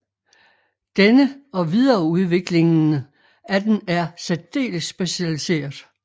Denne og videreudviklingene af den er særdeles specialiseret